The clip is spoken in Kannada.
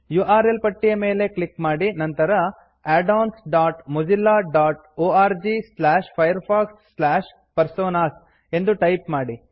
ಯು ಆರ್ ಎಲ್ ಪಟ್ಟಿಯ ಮೇಲೆ ಕ್ಲಿಕ್ ಮಾಡಿ ನಂತರ addonsಮೊಜಿಲ್ಲಾ dot orgfirefoxpersonas addons dot Mozilla dot O R G slash Firefox slash personas ಎಂದು ಟೈಪ್ ಮಾಡಿ